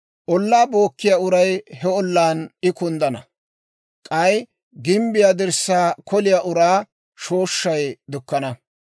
Ollaa bookkiyaa uray he ollaan I kunddana; k'ay gimbbiyaa dirssaa koliyaa uraa shooshshay dukkana.